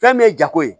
Fɛn min ye jago ye